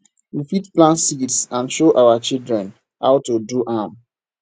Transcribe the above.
we fit plant seeds and show our children how to do am